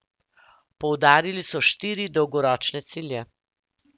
Poudarili so štiri dolgoročne cilje.